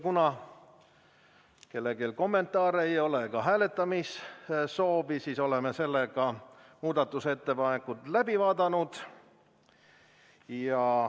Kuna kellelgi kommentaare ega hääletamissoovi ei ole, oleme muudatusettepaneku läbi vaadanud.